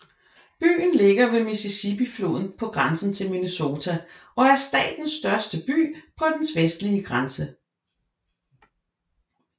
Byen ligger ved Mississippifloden på grænsen til Minnesota og er statens største by på dens vestlige grænse